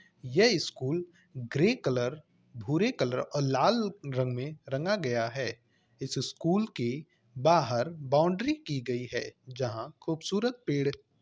यह school grey colour भूरे colour और लाल रंग में रंगा गया है। इस स्कूल की बाहर बाउंड्री की गयी है जहाँ खूबसूरत पेड़ --